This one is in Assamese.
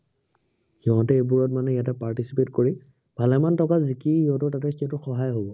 সিহঁতে এইবোৰত মানে ইয়াতে participate কৰি, ভালেমান টকা জিকি, সিহঁতৰ তাতে state ত সহায় হব।